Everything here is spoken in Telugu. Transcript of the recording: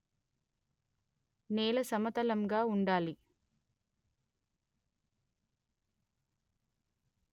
నేల సమతలంగా వుండాలి